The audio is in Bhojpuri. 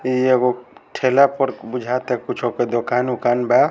इ एगो ठेला पर बुझाता कुछो के दुकान उकान बा।